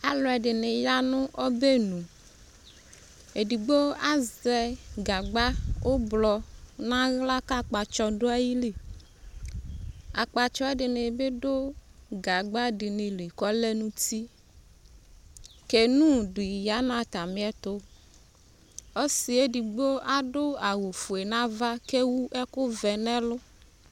Aluɛde ne ya no ɔbɛnuEdigbo azɛ gagba ublɔ nahla ka ajpatsɔ do ayili Akpatsɔ ɛdene be do gahba de ne li kɔlɛ no uti Kenuu de ya no atàme ɛtoƆsiɛ edigbo ado awufue nava kewu ɛkovɛ nɛlu